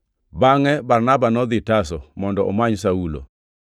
Bangʼe Barnaba nodhi Tarso mondo omany Saulo,